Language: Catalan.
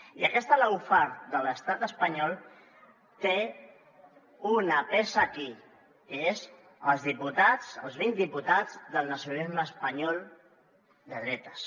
i aquesta lawfare de l’estat espanyol té una peça aquí que són els diputats els vint diputats del nacionalisme espanyol de dretes